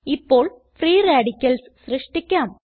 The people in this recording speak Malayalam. ഇപ്പോൾ ഫ്രീ റാഡിക്കൽസ് സൃഷ്ടിക്കാം